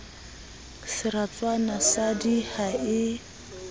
seratswana sa d ha e